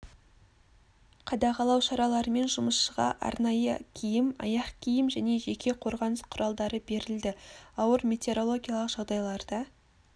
қадағалау шараларымен жұмысшыға арнайы киім аяқ киім және жеке қорғаныс құралдары берілді ауыр метеорологиялық жағдайларда